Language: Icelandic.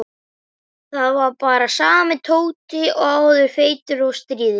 Þetta var bara sami Tóti og áður, feitur og stríðinn.